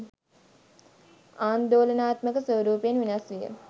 ආන්දෝලනාත්මක ස්වරූපයෙන් වෙනස් විය